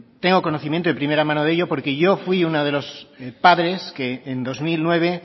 tengo conocimiento de primera mano de ello porque yo fui uno de los padres que en dos mil nueve